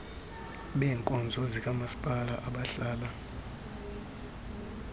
beebkonzo zikamaspala abahlala